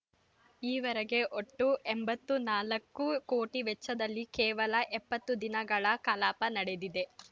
ಈವರೆಗೆ ಒಟ್ಟು ಎಂಬತ್ತ್ ನಾಲ್ಕು ಕೋಟಿ ವೆಚ್ಚದಲ್ಲಿ ಕೇವಲ ಎಪ್ಪತ್ತು ದಿನಗಳ ಕಲಾಪ ನಡೆದಿದೆ